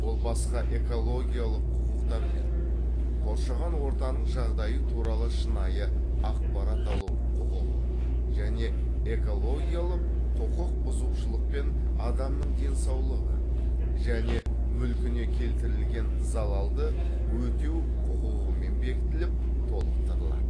ол басқа экологиялық құқықтармен коршаған ортаның жағдайы туралы шынайы ақпарат алу құқығы және экологиялық құқық бұзушылықпен адамның денсаулығы және мүлкіне келтірілген залалды өтеу құқығымен бекітіліп толықтырылады